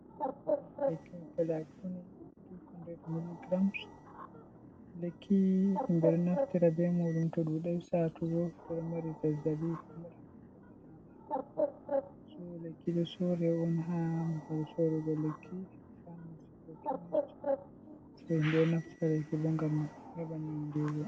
Ɗo'o woni lekkki palakuni 200 milligrams, lekkii himɓe ɗo naftara bee muuɗum to ɗuuɗay saatugo, to do mari zazzaɓi mari zaaaɓi so lekki ɗo soore on haa babal l soorugo ga bana paamaci kookemis, ɓe ɗo naftaraki boo ngam heɓa nyawndeego.